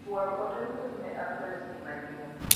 Chwal ote mbui ne adres ni manyien.